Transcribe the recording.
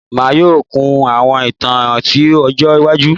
Emi yoo kun awọn itan ti ọjọ iwaju